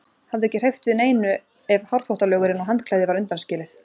Hafði ekki hreyft við neinu ef hárþvottalögurinn og handklæðið var undanskilið.